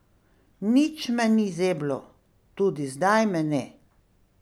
Nič me ni zeblo, tudi zdaj me ne.